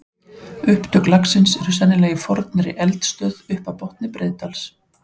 Upptök lagsins eru sennilega í fornri eldstöð upp af botni Breiðdals.